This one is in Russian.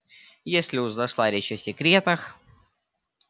если уж зашла речь о секретах